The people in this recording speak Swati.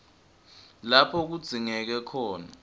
lapho kudzingeke khona